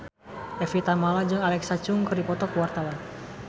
Evie Tamala jeung Alexa Chung keur dipoto ku wartawan